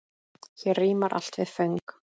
Hér rímar allt við föng.